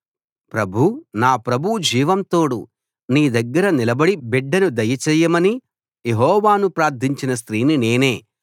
ప్రభూ నా ప్రభువు జీవం తోడు నీ దగ్గర నిలబడి బిడ్డను దయచేయమని యెహోవాను ప్రార్థించిన స్త్రీని నేనే